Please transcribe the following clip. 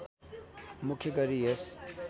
मुख्य गरी यस